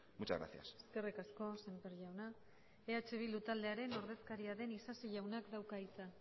muchas gracias eskerrik asko semper jauna eh bildu taldearen ordezkaria den isasi jaunak dauka hitza